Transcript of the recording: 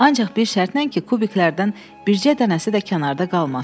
Ancaq bir şərtlə ki, kubiklərdən bircə dənəsi də kənarda qalmasın.